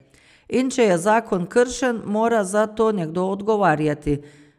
In če je zakon kršen, mora za to nekdo odgovarjati.